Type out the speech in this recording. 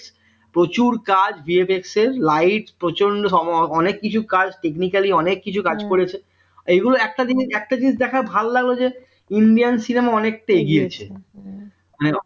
প্রচুর কাজ bhi pixel light প্রচন্ড অনেক কিছু কাজ technically অনেক কিছু কাজ করেছে এইগুলো একটা জিনিস একটা জিনিস দেখে ভালো লাগলো যে india cinema অনেকটা এগিয়েছে